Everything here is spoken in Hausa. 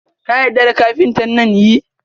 Ka yarda da kafinta nan?yi